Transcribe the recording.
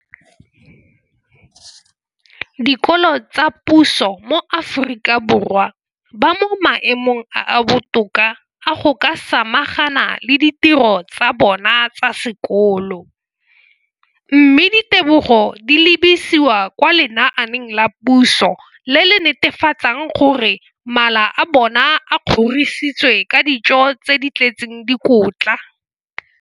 dikolo tsa puso mo Aforika Borwa ba mo maemong a a botoka a go ka samagana le ditiro tsa bona tsa sekolo, mme ditebogo di lebisiwa kwa lenaaneng la puso le le netefatsang gore mala a bona a kgorisitswe ka dijo tse di tletseng dikotla.